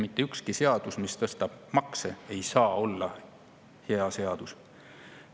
Mitte ükski seadus, mis tõstab makse, ei saa olla hea seadus.